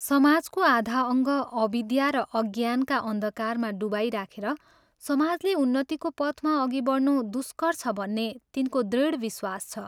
समाजको आधा अङ्ग अविद्या र अज्ञानका अन्धकारमा डुबाइराखेर समाजले उन्नतिको पथमा अघि बढ्नु दुष्कर छ भन्ने तिनको दृढ़ विश्वास छ।